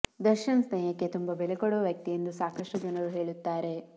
ದರ್ಶನ್ ಸ್ನೇಹಕ್ಕೆ ತುಂಬ ಬೆಲೆಕೊಡುವ ವ್ಯಕ್ತಿ ಎಂದು ಸಾಕಷ್ಟು ಜನರು ಹೇಳುತ್ತಾರೆ